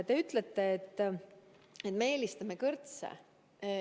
Te ütlete, et me eelistame kõrtse.